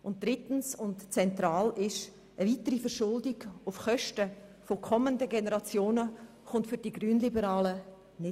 Drittens: Für die Grünliberalen ist es zentral, dass eine weitere Verschuldung auf Kosten kommender Generationen nicht infrage kommt.